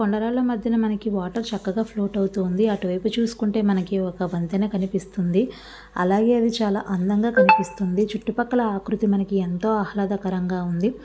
కొండ రాళ్ల మధ్యన మనకి వాటర్ చక్కగా ఫ్లోట్ అవుతుంది. అటు వైపు చూసుకుంటే మనకి ఒక వంతెన కనిపిస్తుంది. అలాగే అది చాలా అందంగా కనిపిస్తుంది. చుట్టూ పక్కల ఆకృతి మనకి ఎంతో ఆహ్లాదకరంగా ఉంది.